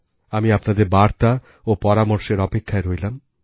আমি আপনাদের বার্তা ও পরামর্শের অপেক্ষায় রইলাম